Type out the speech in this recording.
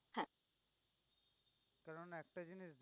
কারন একটা জিনিস